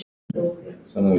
Hvar á að láta hann?